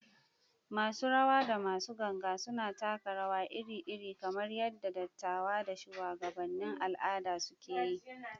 Masu rawa da masu ganga suna taka rawa iri-iri, kamar yadda dattawa da shuwagabannin al’ada suke yi.